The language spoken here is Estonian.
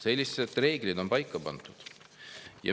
Sellised reeglid on paika pandud.